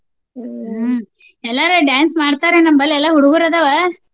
ಎಲ್ಲಾರು dance ಮಾಡ್ತಾರ ನಮ್ಮಲ್ಲೆ ಎಲ್ಲಾ ಹುಡ್ಗುರದಾವ.